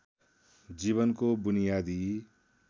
जीवनको बुनियादी